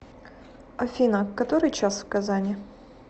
афина который час в казани